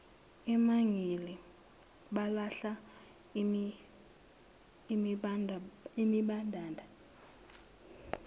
emangele balahla izimbadada